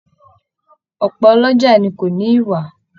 Ọpọ ọlọ́jà ni ko ni iwa